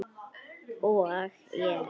Og ég græt.